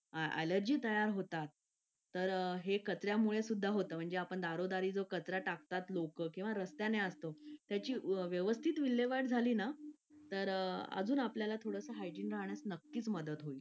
Late होतं सर्दी खोकला हा एक वाढलं आहे. एका मुलाला क्लास पूर्ण क्लास त्याच्यामध्ये वाहून निघत निघत असतो असं म्हणायला हरकत नाही. हो डेंग्यू, मलेरिया यासारखे आजार पण ना म्हणजे लसीकरण आहे. पूर्ण केले तर मला नाही वाटत आहे रोप असू शकतेपुडी लसीकरणाबाबत थोडं पालकांनी लक्ष दिलं पाहिजे की आपला मुलगा या वयात आलेला आहे. आता त्याच्या कोणत्या लसी राहिलेले आहेत का?